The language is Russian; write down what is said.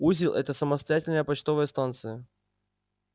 узел это самостоятельная почтовая станция